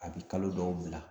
A bi kalo dɔw bila